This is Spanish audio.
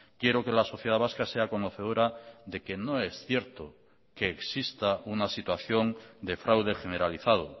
quiero que la sociedad vasca sea conocedora de que no es cierto que exista una situación de fraude generalizado